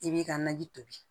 I b'i ka naji tobi